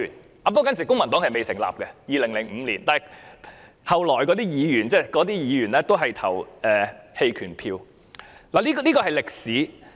在2005年時，公民黨尚未成立，但之後加入該黨的議員，當時也是投了棄權票的，這便是歷史。